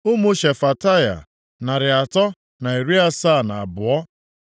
Ụmụ Shefataya, narị atọ na iri asaa na abụọ (372).